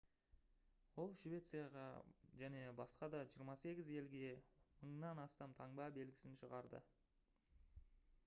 ол швецияға және басқа да 28 елге 1000-нан астам таңба белгісін шығарды